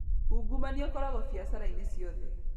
Ungumania ũkoragwo biacara-inĩ ciothe.